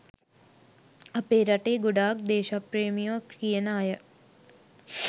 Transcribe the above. අපේ රටේ ගොඩක් දේශප්‍රේමියො කියන අය